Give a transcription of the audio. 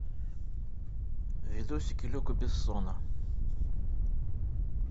видосики люка бессона